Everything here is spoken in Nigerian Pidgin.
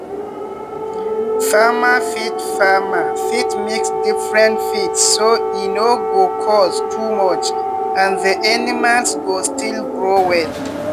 farmer fit farmer fit mix different feed so e no go cost too much and the animals go still grow well.